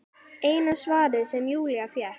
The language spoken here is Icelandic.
Eina svarið sem Júlía fékk.